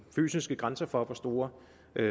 fysiske grænser for hvor store